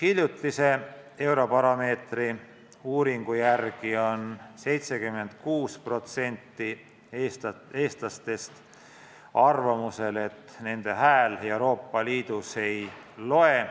Hiljutise Eurobaromeetri uuringu järgi on 76% Eesti elanikest arvamusel, et nende hääl Euroopa Liidus ei loe.